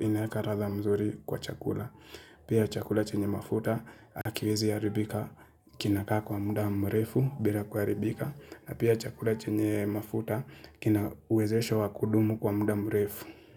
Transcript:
inaeka ratha mzuri kwa chakula Pia chakula chenye mafuta akiwezi haribika kinaka kwa muda mrefu bila kuharibika Pia chakula chenye mafuta kina uwezesho wa kudumu kwa muda mrefu.